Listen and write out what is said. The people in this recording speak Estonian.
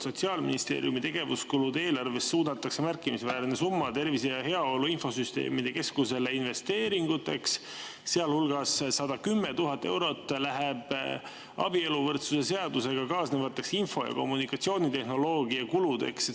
Sotsiaalministeeriumi tegevuskulude eelarvest suunatakse märkimisväärne summa Tervise ja Heaolu Infosüsteemide Keskusele investeeringuteks, sealhulgas 110 000 eurot läheb abieluvõrdsuse seadusega kaasnevateks info- ja kommunikatsioonitehnoloogia kuludeks.